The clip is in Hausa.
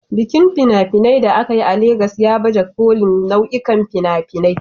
Bikin fina-finai da aka yi a Legas ya baje kolin nau'o'in nau'ikan fina-finai